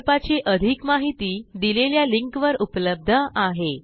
प्रकल्पाची अधिक माहिती दिलेल्या लिंकवर उपलब्ध आहे